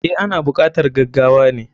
Eh, ana bukatar gagawane.